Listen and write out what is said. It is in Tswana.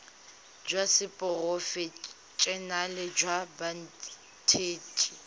jwa seporofe enale jwa banetshi